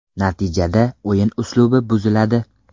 Natijada o‘yin uslubi buziladi.